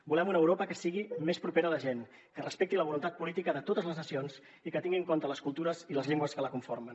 volem una europa que sigui més propera a la gent que respecti la voluntat política de totes les nacions i que tingui en compte les cultures i les llengües que la conformen